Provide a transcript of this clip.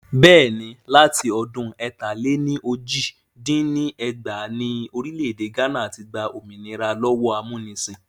Bẹ́ẹ̀ni, láti ọdún ẹ̀ta-lé-ní-ojì dín ní ẹgbàá ni Orílẹ̀ èdè gánà ti gbà òmìnira lọ́wọ́ amúnisìn